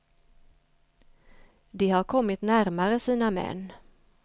De har kommit närmare sina män.